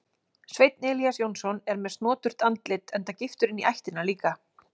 Sveinn Elías Jónsson er með snoturt andlit enda giftur inní ættina líka.